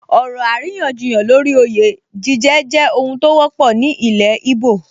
Ọ̀rọ̀ àríyànjiyàn lórí oyè jíjẹ jẹ́ ohun tó wọ́pọ̀ ní ilẹ̀ íbò